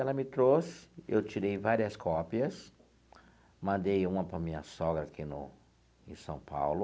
Ela me trouxe, eu tirei várias cópias, mandei uma para a minha sogra aqui no em São Paulo,